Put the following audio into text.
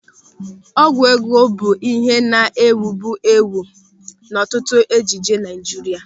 Ọgwụ ego bụ ịhe na-ewubu ewu n'ọtụtụ ejije Naịjirịa.